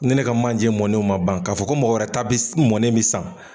Ni ne ka manje mɔnenw ma ban k'a fɔ ko mɔgɔ wɛrɛ ta bi mɔnnew bi san